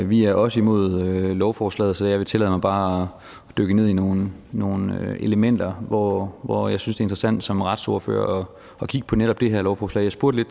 vi er også imod lovforslaget så jeg vil tillade mig bare at dykke ned i nogle nogle elementer hvor hvor jeg synes interessant som retsordfører at kigge på netop det her lovforslag jeg spurgte